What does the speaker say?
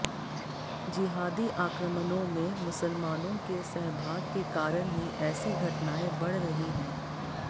जिहादी आक्रमणों में मुसलमानों के सहभाग के कारण ही ऐसी घटनाएं बढ रही हैं